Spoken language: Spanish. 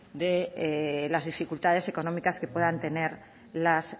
de las dificultades económicas que puedan tener las